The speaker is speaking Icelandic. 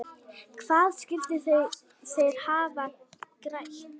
Hvað skyldu þeir hafa grætt?